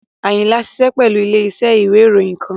Ayinla ṣiṣẹ pẹlu ile-iṣẹ iwe iroyin kan